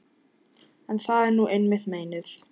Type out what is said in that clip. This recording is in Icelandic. En það er nú einmitt meinið.